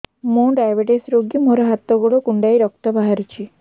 ମୁ ଡାଏବେଟିସ ରୋଗୀ ମୋର ହାତ ଗୋଡ଼ କୁଣ୍ଡାଇ ରକ୍ତ ବାହାରୁଚି